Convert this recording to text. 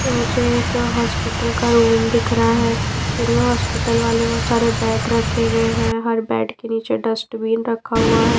ये मुझे एक हॉस्पिटल का रूम दिख रहा है फिर में हॉस्पिटल वाले बहुत सारे बेड रखे हुए हैं हर बेड के नीचे डस्टबीन रखा हुआ है।